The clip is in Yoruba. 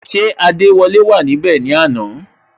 Ṣé adewole wà níbè ni àná?